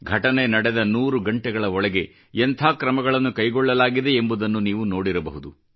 ಘಟನೆ ನಡೆದ 100 ಗಂಟೆಗಳ ಒಳಗೆ ಎಂಥ ಕ್ರಮಗಳನ್ನು ಕೈಗೊಳ್ಳಲಾಗಿದೆ ಎಂಬುದನ್ನು ನೀವು ನೋಡಿರಬಹುದು